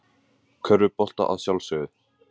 Körfubolta að sjálfsögðu.